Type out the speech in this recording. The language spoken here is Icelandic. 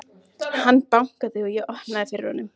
Hann bankaði og ég opnaði fyrir honum.